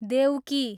देउकी